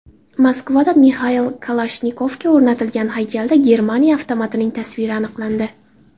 Moskvada Mixail Kalashnikovga o‘rnatilgan haykalda Germaniya avtomatining tasviri aniqlandi.